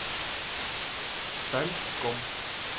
сальском